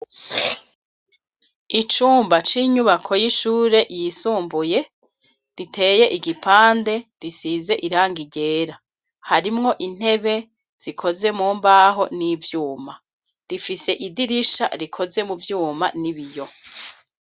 Icumba c'inyubako y'ishure yisumbuye riteye igipande risize irangi ryera, harimwo intebe zikoze mu mbaho n'ivyuma, rifise idirisha rikoze mu vyuma n'ibiyo.